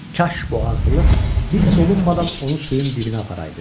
Kaş bu ağrılıq hiss olunmadan onu suyun dibinə aparaydı.